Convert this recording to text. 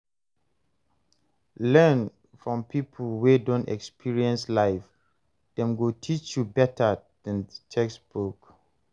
Learn from people wey don experience life, dem go teach you better than textbook.